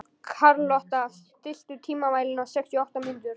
Karlotta, stilltu tímamælinn á sextíu og átta mínútur.